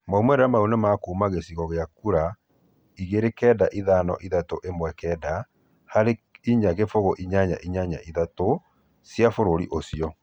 Maumĩrĩra maũ nĩmakũma cĩkĩrio cĩa kũra 295319 harĩ 40883 cĩa bũrũri ucĩo